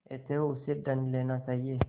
अतएव उससे दंड लेना चाहिए